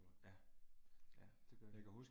Ja. Ja det gør den